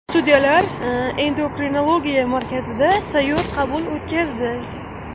Sudyalar endokrinologiya markazida sayyor qabul o‘tkazdi.